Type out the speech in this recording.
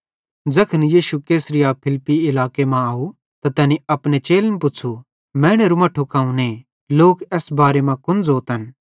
ज़ैखन यीशु कैसरिया फिलिप्पी इलाके मां आव त तैनी अपने चेलन पुच़्छ़ू मैनेरू मट्ठू कौने लोक एस बारे मां कुन ज़ोतन